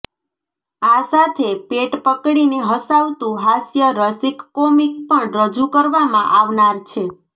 આ સાથે પેટ પકડીને હસાવતું હાસ્ય રસિક કોમિક પણ રજૂ કરવામાં આવનાર છે